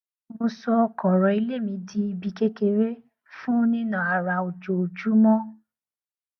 mo sọ kọrọ ilé mi di ibi kékeré fún nína ara ojoojúmọ